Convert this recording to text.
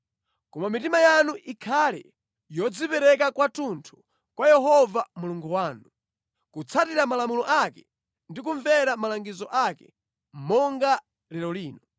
Koma mitima yanu ikhale yodzipereka kwathunthu kwa Yehova Mulungu wanu, kutsatira malamulo ake ndi kumvera malangizo ake, monga lero lino.”